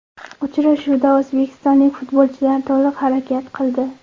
Uchrashuvda o‘zbekistonlik futbolchilar to‘liq harakat qildi.